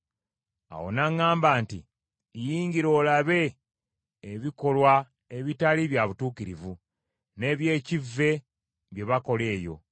Awo n’aŋŋamba nti, “Yingira olabe ebikolwa ebitali bya butuukirivu n’eby’ekivve bye bakola eyo.”